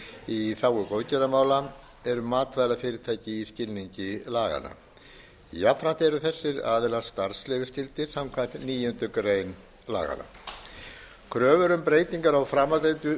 í þágu góðgerðarmála eru matvælafyrirtæki í skilningi laganna jafnframt eru þessir aðilar starfsleyfisskyldir samkvæmt níundu grein laganna kröfur um breytingar á framangreindu